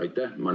Aitäh!